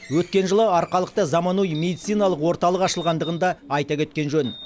өткен жылы арқалықта заманауи медициналық орталық ашылғандығын да айта кеткен жөн